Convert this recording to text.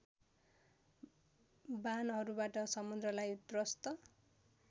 बाणहरूबाट समुद्रलाई त्रस्त